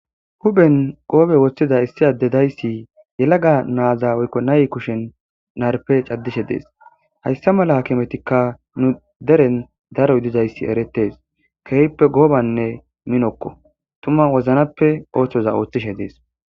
huphen goobe woththida issi adde dayssi yelaga naaza woykko nay kushen narpe caddishe dees hayssa mala hkimetikka nu deren daro ydizayssi eretes keehppe goobanne minokko tuma woznappe ooththoza ooththishe dees